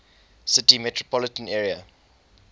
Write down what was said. city metropolitan area